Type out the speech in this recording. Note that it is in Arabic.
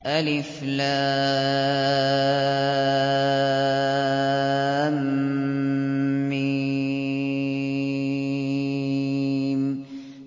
الم